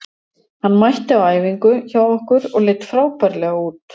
Hann mætti á æfingu hjá okkur og leit frábærlega út.